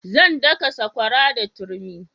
Zan daka sakwara da turmi